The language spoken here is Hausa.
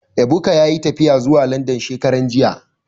Ebuka yayi tafiya zuwa Landan shekaran jiya